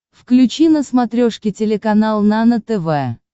включи на смотрешке телеканал нано тв